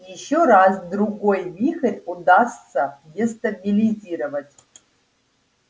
ещё раз-другой вихрь удастся дестабилизировать